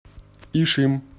ишим